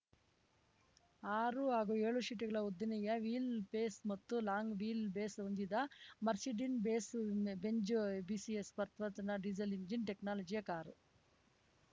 ಆರು ಹಾಗೂ ಏಳು ಸೀಟುಗಳ ಉದ್ದನೆಯ ವೀಲ್‌ ಬೇಸ್‌ ಮತ್ತು ಲಾಂಗ್‌ ವೀಲ್‌ ಬೇಸ್‌ ಹೊಂದಿದ ಮರ್ಸಿಡಿನ್ಬೇಸ್ ಬೆನ್ಜ್ ಬಿಎಸ್‌ ನ ಪರ್ಪರ್ತನಾ ಡೀಸೆಲ್‌ ಇಂಜಿನ್‌ ಟೆಕ್ನಾಲಜಿಯ ಕಾರು